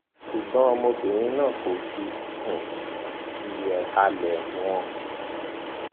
ṣùgbọn ọmọbìnrin náà kò fi um ti ìhàlẹ wọn